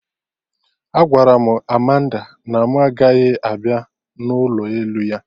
Agwara m Amanda na mụ agaghị abịa n'ụlọ elu ya